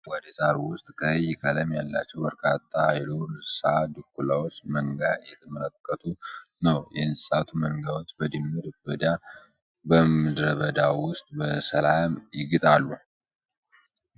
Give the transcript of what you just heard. ረዥም አረንጓዴ ሳር ውስጥ፣ ቀይ ቀለም ያላቸው በርካታ የዱር እንሣ ድኩላዎች መንጋ እየተመለከቱ ነው። የእንስሳቱ መንጋዎች በምድረ በዳ ውስጥ በሰላም ይግጣሉ።